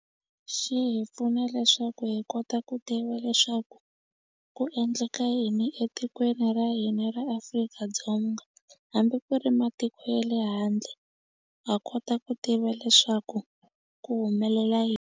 Xi hi pfuna leswaku hi kota ku tiva leswaku ku endleka yini etikweni ra hina ra Afrika-Dzonga hambi ku ri matiko ye le handle ha kota ku tiva leswaku ku humelela .